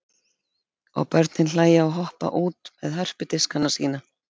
Og börnin hlæja og hoppa út með hörpudiskana sína.